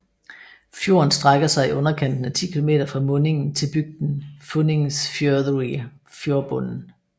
Fjorden strækker sig i underkanten af ti kilometer fra mundingen til bygden Funningsfjørðuri fjordbunden